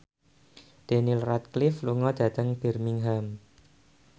Daniel Radcliffe lunga dhateng Birmingham